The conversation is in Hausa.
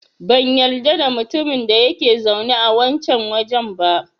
Ban yarda da mutumin da yake zaune a wancan wajen ba.